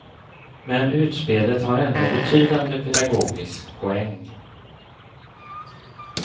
Men utspelet har ändå en betydande pedagogisk poäng.